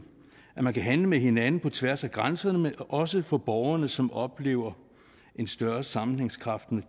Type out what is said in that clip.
at man kan handle med hinanden på tværs af grænserne også for borgerne som oplever en større sammenhængskraft når